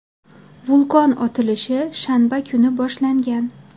Vulqon otilishi shanba kuni boshlangan.